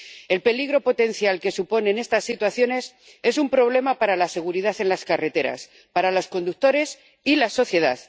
El peligro potencial que suponen estas situaciones es un problema para la seguridad en las carreteras, para los conductores y la sociedad.